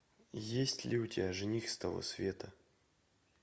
есть ли у тебя жених с того света